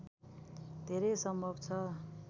धेरै सम्भव छ